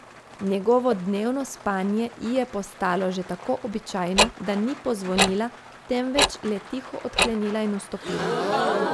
Njegovo dnevno spanje ji je postalo že tako običajno, da ni pozvonila, temveč le tiho odklenila in vstopila.